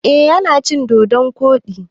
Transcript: Eh yana cin dodon koɗi.